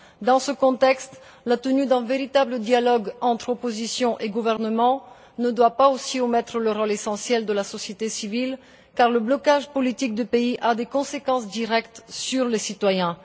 Dans ce contexte, la tenue d'un véritable dialogue entre opposition et gouvernement ne doit pas non plus omettre le rôle essentiel de la société civile, car le blocage politique du pays a des conséquences directes sur les citoyens.